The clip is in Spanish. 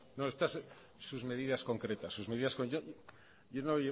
sus medidas concretas yo no